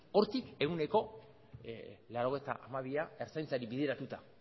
hortik ehuneko laurogeita hamabia ertzaintzari bideratuta